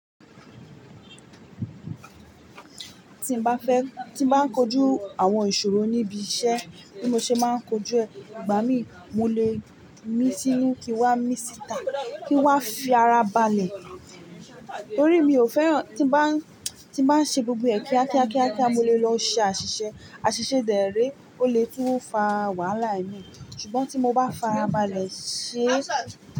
Tí n bá fẹ́, tí n bá kojú àwọn ìṣòro níbi iṣẹ́, bí mo ṣe máa ń kojú ẹ̀, ìgbà mí mo lè mí sí inú kí n wá mí síta, kí n wá fi ara balẹ̀. Torí mi ò fẹ́ràn tí ń bá, tí ń bá ń ṣe gbogbo ẹ̀ kíákíákíá mó lè lọ ṣe àṣìṣe. Àṣìṣe dèré ó lè tú fa wàhálà i míì. Ṣùgbọ́n tí mo bá farabalẹ̀ ṣe.